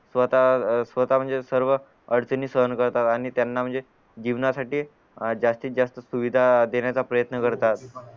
स्वतः अह स्वतः म्हणजे सर्व अडचणी सहन करतात आणि त्यांना म्हणजे जीवनासाठी जास्तीत जास्त सुविधा देण्याचा प्रयत्न करतात